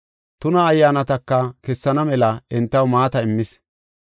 Tuna ayyaanataka kessana mela entaw maata immis.